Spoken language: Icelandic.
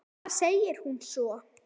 Bara segir hún svo.